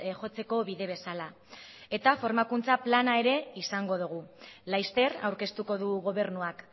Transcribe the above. jotzeko bide bezala eta formakuntza plana izango dogu laster aurkeztuko du gobernuak